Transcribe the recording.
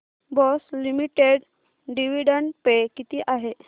Bosch limited dividend pay किती आहे